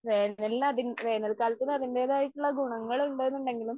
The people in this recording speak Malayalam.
വേനലിൽ അതിന്റെ വേനൽക്കാലത്തിന് അതിന്റേതായിട്ടുള്ള ഗുണങ്ങൾ ഉണ്ട് എന്നുണ്ടെങ്കിലും